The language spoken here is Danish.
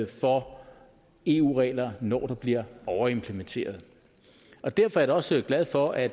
for eu regler når der bliver overimplementeret og derfor er jeg da også glad for at